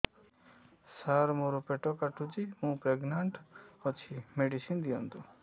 ସାର ମୋର ପେଟ କାଟୁଚି ମୁ ପ୍ରେଗନାଂଟ ଅଛି ମେଡିସିନ ଦିଅନ୍ତୁ